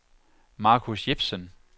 Marcus Jepsen